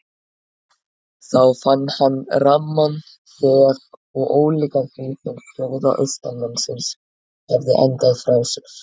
Þá fann hann ramman þef og ólíkan því sem skjóða austanmannsins hafði andað frá sér.